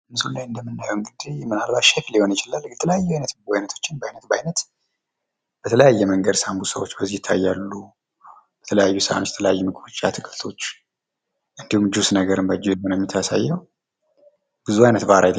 ምስሉ ላይ እንደምንመለከተው የተለያዩ የምግብ አይነቶች ባይነት ባይነት ተደርድረው እናያለን ።ሳንቡሳ፣ አትክልቶች እንዲሁም ጁስ ይታየናል።